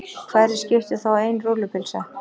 Hverju skipti þá ein rúllupylsa.